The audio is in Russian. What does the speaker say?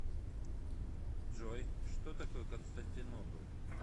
джой что такое константинополь